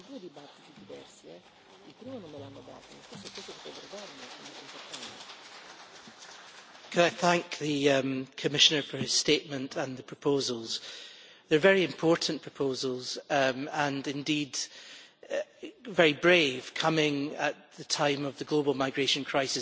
Mr President, I would like to thank the Commissioner for his statement and the proposals. They are very important proposals and indeed very brave coming at the time of the global migration crisis.